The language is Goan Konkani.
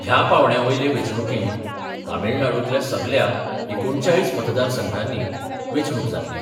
ह्या पांवड्या वयले वेंचणुकेंत तामीळनाडूंतल्या सगल्या एकुणचाळीस मतदारसंघांनी वेंचणूक जातली.